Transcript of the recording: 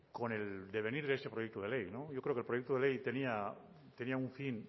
con el devenir de este proyecto de ley yo creo que el proyecto de ley tenía un fin